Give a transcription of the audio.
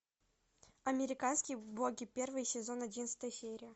американские боги первый сезон одиннадцатая серия